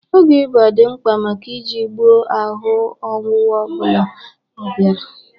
Ọgwụ ịba dị mkpa maka iji gboo ahụ ọnwụnwụ ọbụla ọbiara.